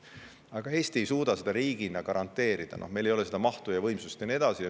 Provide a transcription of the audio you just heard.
Aga Eesti ei suuda seda riigina garanteerida, meil ei ole seda mahtu ega võimsust ja nii edasi.